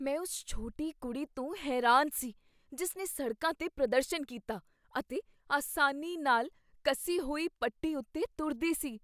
ਮੈਂ ਉਸ ਛੋਟੀ ਕੁੜੀ ਤੋਂ ਹੈਰਾਨ ਸੀ ਜਿਸ ਨੇ ਸੜਕਾਂ 'ਤੇ ਪ੍ਰਦਰਸ਼ਨ ਕੀਤਾ ਅਤੇ ਆਸਾਨੀ ਨਾਲ ਕੱਸੀ ਹੋਈ ਪੱਟੀ ਉੱਤੇ ਤੁਰਦੀ ਸੀ।